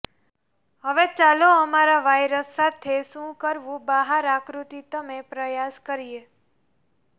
હવે ચાલો અમારા વાયરસ સાથે શું કરવું બહાર આકૃતિ તમે પ્રયાસ કરીએ